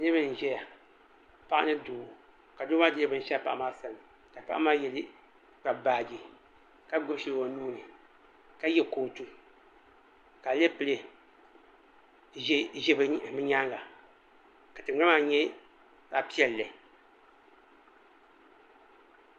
Niriba n zɛya paɣa ni doo ka doo maa dɛɛ bini shɛɣu paɣa maa sani ka paɣa maa Kpabi baaji ka gbubi shɛli o nuu ni ka ye kootu ka aleple zɛ bi yɛanga ka tiŋgbani maa nyɛ zaɣi piɛlli.